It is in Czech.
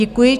Děkuji.